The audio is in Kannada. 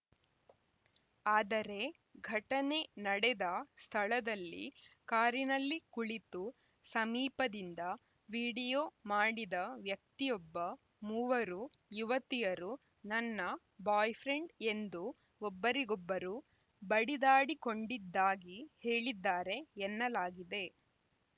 ಆದರೆ ಘಟನೆ ನಡೆದ ಸ್ಥಳದಲ್ಲಿ ಕಾರಿನಲ್ಲಿ ಕುಳಿತು ಸಮೀಪದಿಂದ ವಿಡಿಯೋ ಮಾಡಿದ ವ್ಯಕ್ತಿಯೊಬ್ಬ ಮೂವರು ಯುವತಿಯರು ನನ್ನ ಬಾಯ್‌ ಫ್ರೆಂಡ್‌ ಎಂದು ಒಬ್ಬರಿಗೊಬ್ಬರು ಬಡಿದಾಡಿಕೊಂಡಿದ್ದಾಗಿ ಹೇಳಿದ್ದಾರೆ ಎನ್ನಲಾಗಿದೆ